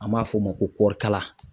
An b'a f'o ma ko kɔɔrikala.